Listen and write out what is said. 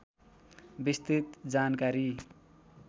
विस्तृत जानकारी